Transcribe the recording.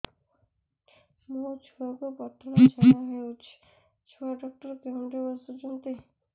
ମୋ ଛୁଆକୁ ପତଳା ଝାଡ଼ା ହେଉଛି ଛୁଆ ଡକ୍ଟର କେଉଁଠି ବସୁଛନ୍ତି